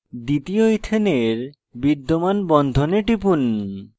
দ্বিতীয় ইথেনের বিদ্যমান বন্ধনে টিপুন